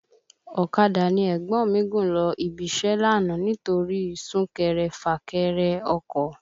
Ọ̀kadà ni ẹ̀gbọ́n mi gùn lọ ibi iṣẹ́ lánàá nítorí sún kẹrẹ fà kẹrẹ ọkọ̀